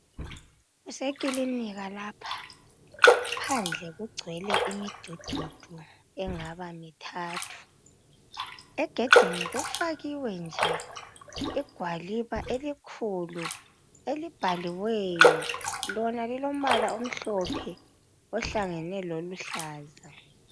Kusekilinika lapha phandle kugcwele imidududu engaba mithathu. Egedini kufakiwe nje igwaliba elikhulu elibhaliweyo, lona lilombala omhlophe ohlangane loluhlaza.